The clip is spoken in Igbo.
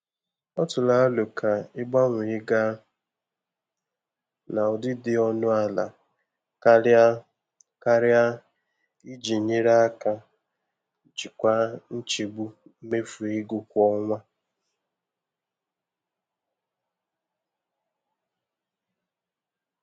Ọ tụrụ aro ka ịgbanwee gaa na ụdị dị ọnụ ala karịa karịa iji nyere aka jikwaa nchegbu mmefu ego kwa ọnwa.